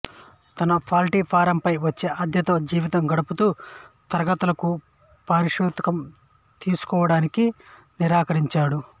తన పౌల్ట్రీ ఫారంపై వచ్చే అద్దెతో జీవితం గడుపుతూ తరగతులకు పారితోషికం తీసుకోవడానికి నిరాకరించాడు